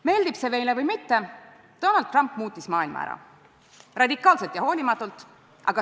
Meeldib see meile või mitte, Donald Trump muutis maailma, radikaalselt ja hoolimatult.